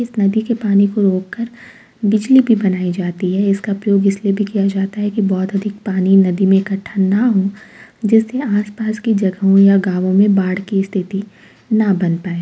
इस नदी के पानी को रोक कर बिजली भी बनाई जाती है। इसका प्रयोग इसलिए भी किया जाता है कि बहोत अधिक पानी नदी मे इकठ्ठा ना हो जिससे आस-पास की जगहों और गावों मे बाड़ की स्थिति न बन पाए।